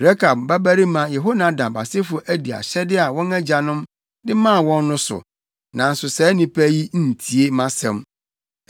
Rekab babarima Yehonadab asefo adi ahyɛde a wɔn agyanom de maa wɔn no so, nanso saa nnipa yi ntie mʼasɛm.’